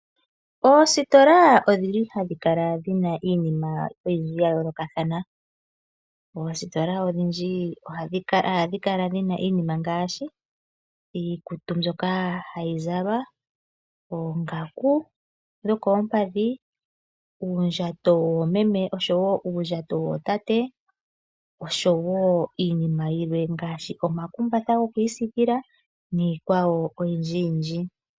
Oositola odhili hadhi kala dhi na iinima oyindji ya yoolokathana. Oositola odhindji ohadhi kala dhi na iinima ngaashi iikutu mbyoka hayi zalwa, oongaku dhokoo mpadhi, uundjato woomeme nuundjato wootate osho wo iinima yilwe ngaashi oma kumbatha gokwiisikila niikwawo oyindji yindji.